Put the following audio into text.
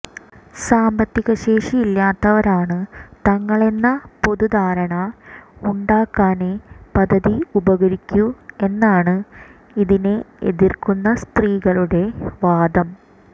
സാന്പത്തികശേഷിയില്ലാത്തവരാണ് തങ്ങളെന്ന പൊതുധാരണ ഉണ്ടാക്കാനേ പദ്ധതി ഉപകരിക്കൂ എന്നാണ് ഇതിനെ എതിർക്കുന്ന സ്ത്രീകളുടെ വാദം